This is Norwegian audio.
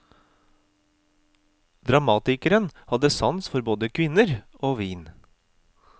Dramatikeren hadde sans for både kvinner og vin.